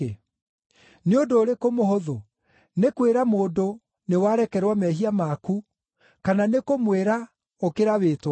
Nĩ ũndũ ũrĩkũ mũhũthũ; nĩ kwĩra mũndũ, ‘Nĩwarekerwo mehia maku,’ kana nĩ kũmwĩra, ‘Ũkĩra wĩtware’?